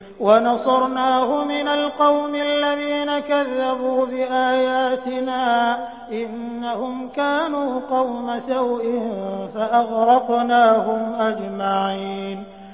وَنَصَرْنَاهُ مِنَ الْقَوْمِ الَّذِينَ كَذَّبُوا بِآيَاتِنَا ۚ إِنَّهُمْ كَانُوا قَوْمَ سَوْءٍ فَأَغْرَقْنَاهُمْ أَجْمَعِينَ